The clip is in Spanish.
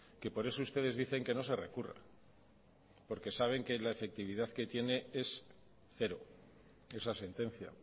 que por eso ustedes dicen que no se recurra porque saben que la efectividad que tiene es cero esa sentencia